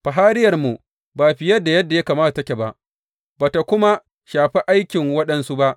Fahariyarmu ba fiye da yadda ya kamata take ba, ba tă kuma shafi aikin waɗansu ba.